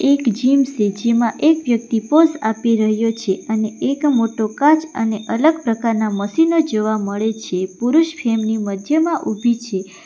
એક જીમ સે જેમાં એક વ્યક્તિ પોઝ આપી રહ્યો છે અને એક મોટો કાચ અને અલગ પ્રકારના મશીનો જોવા મળે છે પુરુષ ફ્રેમ ની મધ્યમાં ઊભી છે.